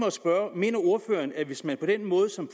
at spørge mener ordføreren at vi hvis man på den måde som